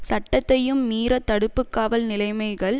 சட்டத்தையும் மீறத் தடுப்பு காவல் நிலைமைகள்